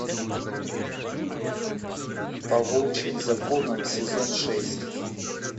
по волчьим законам сезон шесть